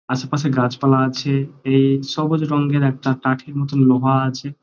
আশেপাশে গাছপালা আছে এই সবুজ রঙের একটা কাঠি মতো একটা লোহা আছে।